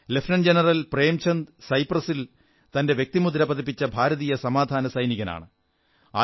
lieutenant general Premchand സൈപ്രസിൽ തന്റെ വ്യക്തിമുദ്ര പതിപ്പിച്ച ഭാരതീയ സമാധാന സൈനികനാണ്